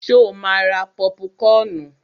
Ṣo ma ra pọ́púkọnù?